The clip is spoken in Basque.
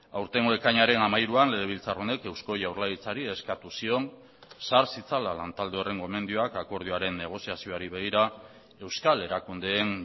aurtengo ekainaren hamairuan legebiltzar honek eusko jaurlaritzari eskatu zion sar zitzala lantalde horren gomendioak akordioaren negoziazioari begira euskal erakundeen